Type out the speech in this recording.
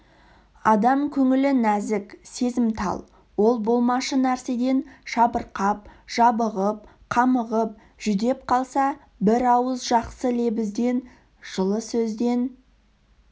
адам көңілі нәзік сезімтал ол болмашы нәрседен жабырқап жабығып қамығып жүдеп қалса бір ауыз жақсы лебізден жылы сөзден